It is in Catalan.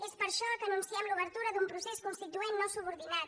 és per això que anunciem l’obertura d’un procés constituent no subordinat